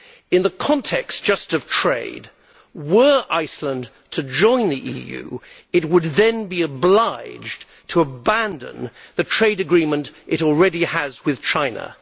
In the context just of trade, were Iceland to join the EU, it would then be obliged to abandon the trade agreement it already has with China.